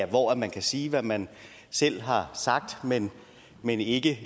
og hvor man kan sige hvad man selv har sagt men men ikke